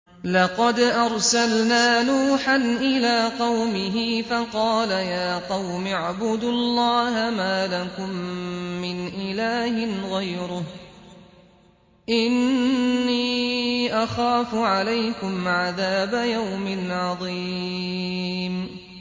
لَقَدْ أَرْسَلْنَا نُوحًا إِلَىٰ قَوْمِهِ فَقَالَ يَا قَوْمِ اعْبُدُوا اللَّهَ مَا لَكُم مِّنْ إِلَٰهٍ غَيْرُهُ إِنِّي أَخَافُ عَلَيْكُمْ عَذَابَ يَوْمٍ عَظِيمٍ